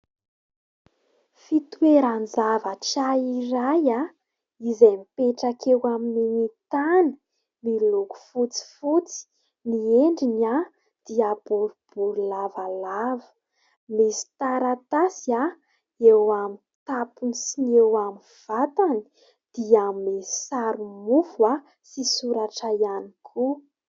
Fitoeran-javatra iray izay mipetraka eo amin'ny tany, miloko fotsifotsy, ny endriny dia boribory lavalava, misy taratasy eo amin'ny tapony sy ny eo amin'ny vatany dia misy sary mofo sy soratra ihany koa.